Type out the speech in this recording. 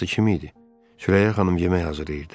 Sürəyyə xanım yemək hazırlayırdı.